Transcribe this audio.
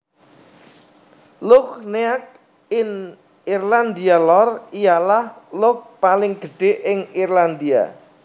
Lough Neagh ing IrlandiaLor ialah loughpaling gedhe ing Irlandia